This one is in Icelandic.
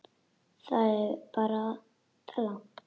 Þetta er bara della.